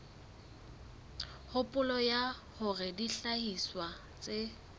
kgopolo ya hore dihlahiswa tse